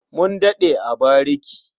Mun daɗe a bariki.